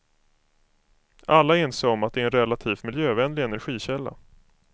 Alla är ense om att det är en relativt miljövänlig energikälla.